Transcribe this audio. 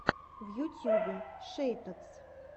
в ютьюбе шейтадс